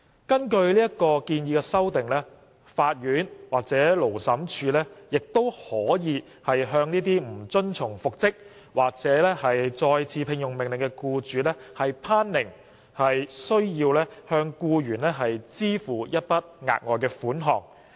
根據建議的修訂，法院或勞審處亦可向不遵從復職或再次聘用命令的僱主頒令須向僱員支付一筆額外款項。